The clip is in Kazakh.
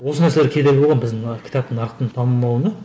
осы нәрселер кедергі болған біздің мына кітаптың нарықтың дамымауына